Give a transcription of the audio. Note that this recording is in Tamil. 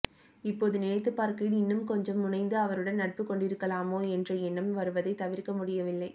இப்போது நினைத்துப் பார்க்கையில் இன்னும் கொஞ்சம் முனைந்து அவருடன் நட்புக் கொண்டிருக்கலாமோ என்ற எண்ணம் வருவதைத் தவிர்க்க முடியவில்லை